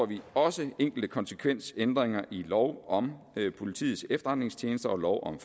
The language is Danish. vi også enkelte konsekvensændringer i lov om politiets efterretningstjeneste og lov om